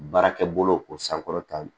Baarakɛ bolo ko sankɔrɔta